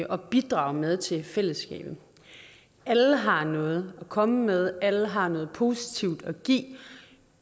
at bidrage med til fællesskabet alle har noget at komme med alle har noget positivt at give